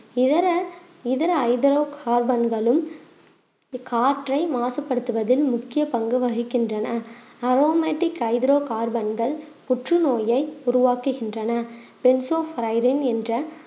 இதர இதர ஹைட்ரோ கார்பென்களும் காற்றை மாசுபடுத்துவதில் முக்கிய பங்கு வகிக்கின்றன அரோமேட்டிக் ஹைட்ரோ கார்பன்கள் புற்றுநோயை உருவாக்குகின்றன என்ற